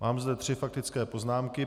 Mám zde tři faktické poznámky.